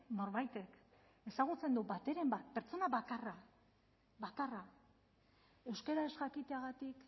norbaitek ezagutzen du bateren bat pertsona bakarra bakarra euskara ez jakiteagatik